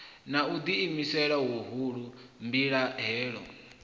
na u ḓiimisela huhulu mbilahelo